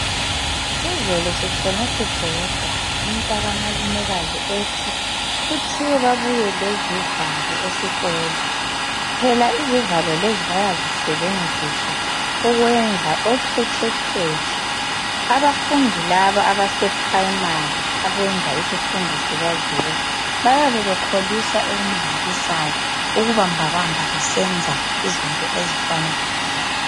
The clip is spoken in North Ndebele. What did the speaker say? Izolo sitshone sibhoda umntaka malumekazi ethi kuthiwe babuye lezivalo esikolo. Phela izivalo lezi bayazisebenzisa ukwenza okhetshekhetshe. Abafundi laba abasePrimary abenza isifundo sika zero, bayabe bekholisa okumangalisayo ukubambabamba besenza izinto ezifana lalezo.